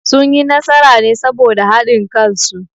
Sun yi nasara ne saboda haɗin kan su